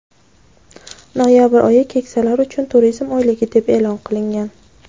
noyabr oyi "Keksalar uchun turizm oyligi" deb e’lon qilingan.